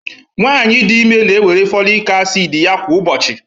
nwanyị dị ime na-ewere folic acid ya kwa ụbọchị